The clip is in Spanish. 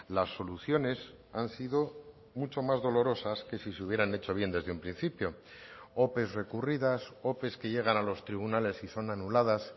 las soluciones han sido mucho más dolorosas que si se hubieran hecho bien desde un principio ope recurridas ope que llegan a los tribunales y son anuladas